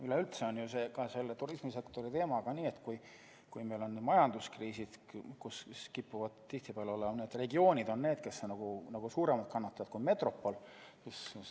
Üleüldse on turismisektori teemaga nii, et kui meil on majanduskriis, siis kipuvad tihtipeale regioonid olema need, kes on suuremad kannatajad kui metropol.